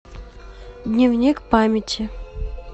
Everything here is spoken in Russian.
дневник памяти